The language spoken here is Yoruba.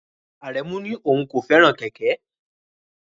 Aremu ní òun kò fẹ́ràn kẹ̀kẹ́.